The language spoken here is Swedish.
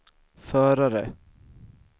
förare